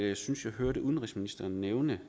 jeg synes jeg hørte udenrigsministeren nævne